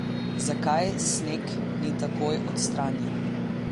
Zakaj sneg ni takoj odstranjen?